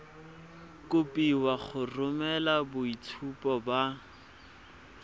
kopiwa go romela boitshupo ba